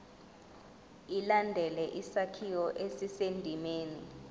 ilandele isakhiwo esisendimeni